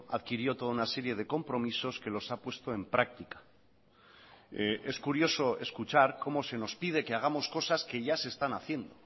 adquirió toda una serie de compromisos que los ha puesto en práctica es curioso escuchar cómo se nos pide que hagamos cosas que ya se están haciendo